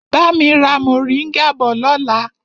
Bami ra moringa bọ̀ lọ́la!